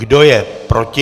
Kdo je proti?